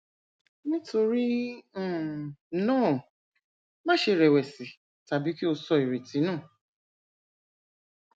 nítorí um náà máṣe rẹwẹsì tàbí kí o sọ irètí nù